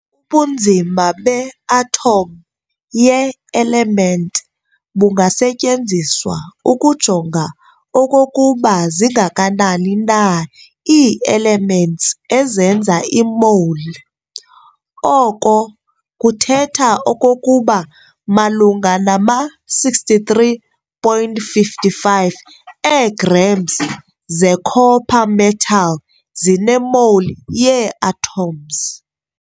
Ubunzima be-atom ye-element bungasetyenziswa ukujonga okokuba zingakanani na ii-elements ezenza i-mole. Oko kuthetha okokuba malunga nama 63.55 ee-grams ze-copper metal zine-mole yee-atoms.